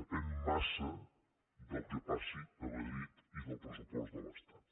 depèn massa del que passi a madrid i del pressupost de l’estat